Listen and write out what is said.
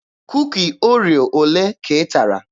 Kuki Oreo olee ka ị tara?